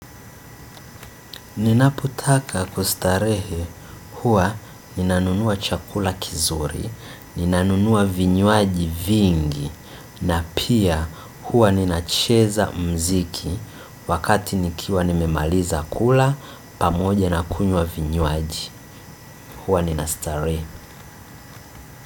Ninapotaka kustarehe, huwa ninanunua chakula kizuri, ninanunua vinywaji vingi, na pia huwa ninacheza mziki wakati nikiwa nimemaliza kula, pamoja na kunywa vinywaji, huwa ninastarehe.